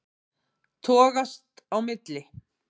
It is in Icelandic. Ég togast á milli.